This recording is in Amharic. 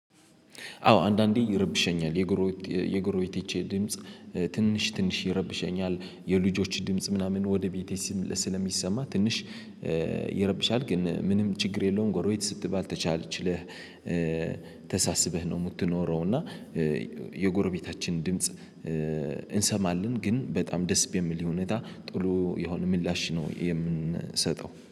አዎ አንዳንዴ ይረብሸኛል የጎሮ የጎሮ የትቼ ድምጽ ትንሽ ትንሽ ይረብሸኛል የልጆች ድምጽ ምናምን ወደ ቤቴ ስለሚሰማ ትንሽ ይረብሻል። ግን ምንም ችግር የለውም ጎሮይት ስትባል ተቻልችለህ። ተሳስበህ ነው የምትኖረው እና የጎረቤታችን ድምጽ እንሰማለን። ግን በጣም ደስ የሚል እውነት ጥሎ የሆነ ምላሽ ነው። የምንሰጠው